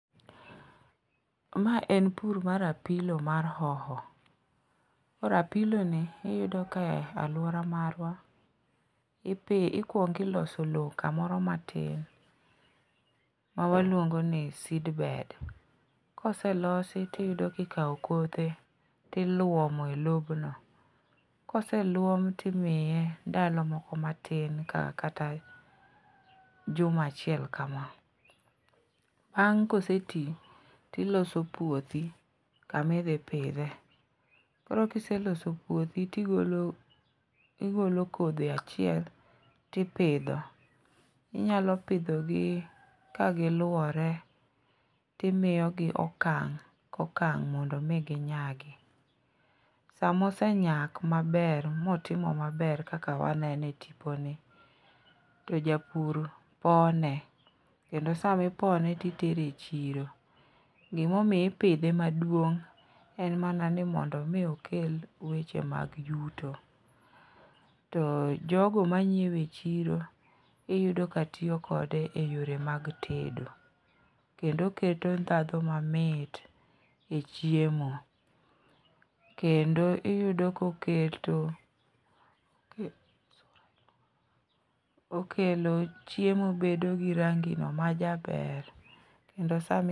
Ma en pur mar apilo mar hoho. Koro apiloni iyudo ka e alwora marwa, ikwongo iloso lowo kamoro matin mawaluongo ni seedbed. Koselosi tiyudo kikawo kothe tilwomo e lopno, koselwom timiye ndalo moko matin kata juma achiel kama. Bang' koseti tiloso puothi kamidhi pidhe, koro kiseloso puothi, tigolo kodhi achiel tipidho, inyalo pidhogi kagiluwore timiyogi okang' kokang' mondo omi ginyagi. Sama osenyak maber motimo maber kaka waneno e tiponi, to japur pone kendo sami pone titere e chiro. Gimomiyo ipidhe maduong' en mana ni mondo omi okel weche mag yuto, to jogo manyiewe e chiro iyudo ka tiyo kode e yore mag tedo, kendo oketo ndhadhu mamit e chiemo, kendo iyudo kokelo chiemo bedo gi rangino majaber kendo sami